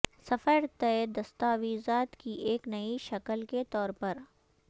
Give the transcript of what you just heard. سفر طے دستاویزات کی ایک نئی شکل کے طور پر